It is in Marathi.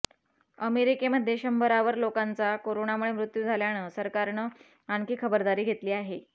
अमेरिकेमध्ये शंभरावर लोकांचा कोरोनामुळे मृत्यू झाल्यानं सरकारनं आणखी खबरदारी घेतली आहे